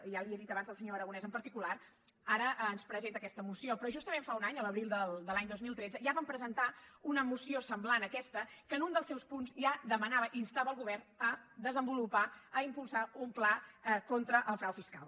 ja li ho he dit abans al senyor aragonès en particular ara ens presenta aques·ta moció però justament fa un any l’abril de l’any dos mil tretze ja van presentar una moció semblant a aquesta que en un dels seus punts ja demanava instava el go·vern a desenvolupar a impulsar un pla contra el frau fiscal